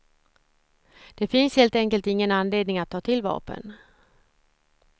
Det finns helt enkelt ingen anledning att ta till vapen.